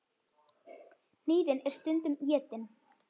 Hnýðin eru stundum étin.